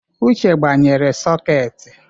Uche gbanyere sọketị.